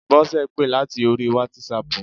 Bọ́sẹ̀ pè láti orí wátísapù